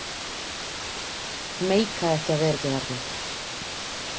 Meika ekki að vera ekki þarna.